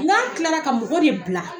N k'a tilara ka mɔgɔ de bila